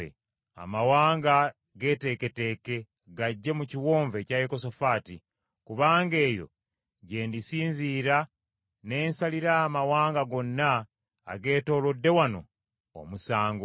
“Amawanga geeteeketeeke gajje mu kiwonvu ekya Yekosafaati; kubanga eyo gye ndisinzira ne nsalira amawanga gonna ageetoolodde wano omusango.